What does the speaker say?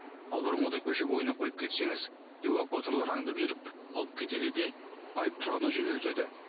ал бұрынғыдай көше бойына қойып кетсеңіз эвакуаторлар аңдып жүріп алып кетеді де айып тұрағына жөнелтеді